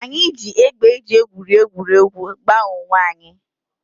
Anyị ji égbè e ji egwuri egwuregwu gbaa onwe anyị